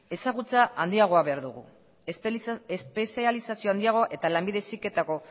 ezagutza handiagoa behar dugu espezializazio handiagoa eta lanbide heziketako